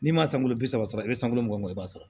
N'i ma sanu bi saba sɔrɔ i be san wolo i b'a sɔrɔ